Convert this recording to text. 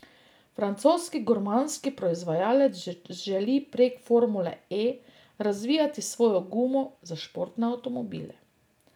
Francoski gumarski proizvajalec želi prek formule E razvijati svojo gumo za športne avtomobile.